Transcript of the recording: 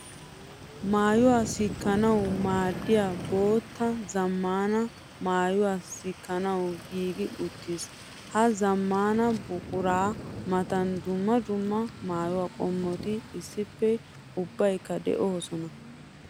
Maayuwa sikkanawu maaddiya bootta zamaana maayuwa sikkanawu giiggi uttiis. Ha zamaana buqura matan dumma dumma maayuwa qommotto issippe ubbaykka de'osonna.